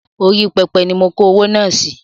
Orí pẹpẹ ni mo kó owó náà sì